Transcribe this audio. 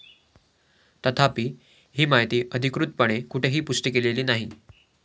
तथापि, ही माहिती अधिकृतपणे कुठेही पुष्टी केलेली नाही.